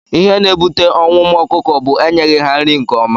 Ihe na- ebute ọnwụ ụmụ ọkụkọ bu enyeghi ha nri nke ọma.